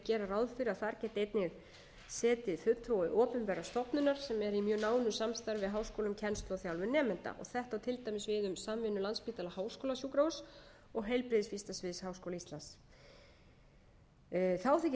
gera ráð fyrir að þar geti einnig setið fulltrúi opinberrar stofnunar sem er í mjög nánu samstarfi við háskóla um kennslu og þjálfun nemenda þetta á til dæmis við um samvinnu landspítala háskólasjúkrahúss og heilbrigðissvið háskóla íslands þá þykir